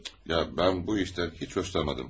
Ya, mən bu işdən heç xoşlanmadım.